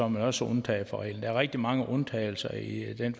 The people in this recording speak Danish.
man også undtaget fra reglen der er rigtig mange undtagelser i den